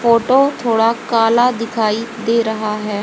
Photo थोड़ा काला दिखाई दे रहा है।